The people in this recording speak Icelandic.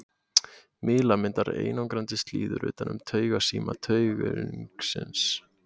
Mýli myndar einangrandi slíður utan um taugasíma taugungsins.